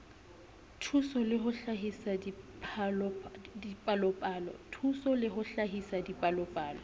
dithuso le ho hlahisa dipalopalo